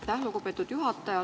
Aitäh, lugupeetud juhataja!